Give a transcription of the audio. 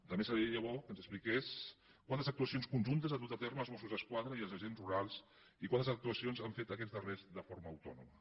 també seria bo que ens expliqués quantes actuacions conjuntes han dut a terme els mossos d’esquadra i els agents rurals i quantes actuacions han fet aquests darrers de forma autònoma